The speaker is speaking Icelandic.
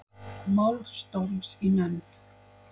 Mál Storms í nefnd